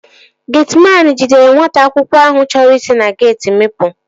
Getiman ahụ jidere nwata akwụkwọ ahụ chọrọ isi na geeti mịpu